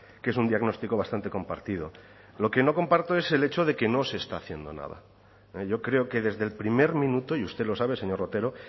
que es un diagnóstico bastante compartido lo que no comparto es el hecho de que no se está haciendo nada yo creo que desde el primer minuto y usted lo sabe señor otero